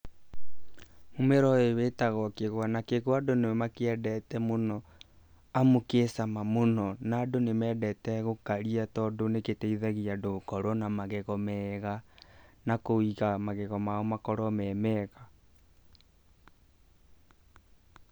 Mũmera ũyũ wĩtagwo kĩgwa, na kĩgwa, andũ nĩ makĩendete mũno amũ kĩ cama mũno, na andũ nĩ mendete gũkaria tondũ nĩ gĩteithagia andũ gũkorwo na magego mega, na kũiga magego mao makorwo me mega.